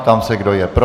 Ptám se, kdo je pro.